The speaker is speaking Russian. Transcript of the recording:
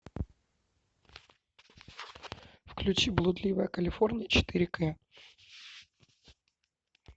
включи блудливая калифорния четыре кэ